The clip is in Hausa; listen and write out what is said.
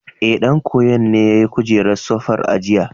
Ee, ɗan koyon ne yayi kujerar sofar a jiya.